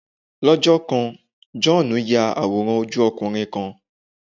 Lọ́jọ́ kan, Jòhánù ń ya àwòrán ojú ọkùnrin kan